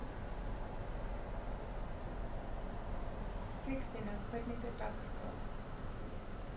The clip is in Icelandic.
Sigfinnur, hvernig er dagskráin?